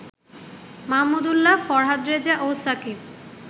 মাহমুদুল্লাহ, ফরহাদ রেজা ও সাকিব